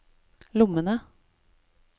lommene